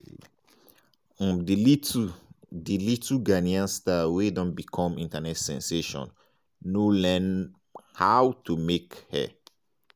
um di little di little ghanaian star wey don become internet sensation no learn um how to make hair.